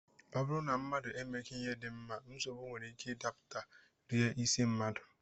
Ọ bụrụ na mmadụ emeghị ihe dị mma, nsogbu nwere ike ịdapụta, rie isi mmadụ